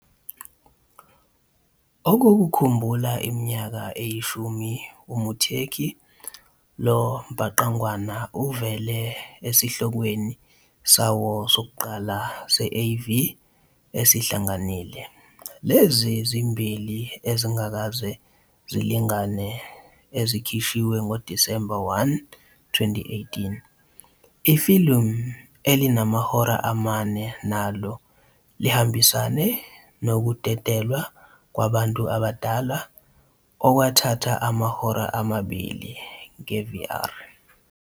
Okokukhumbula iminyaka eyishumi uMuteki, lo mbhangqwana uvele esihlokweni sawo sokuqala se-AV esihlanganile, Lezi Zimbili Ezingakaze Zilingane ezikhishwe ngoDisemba 1, 2018. Ifilimu elinamahora amane nalo lihambisane nokudedelwa kwabantu abadala okwathatha amahora amabili nge-VR.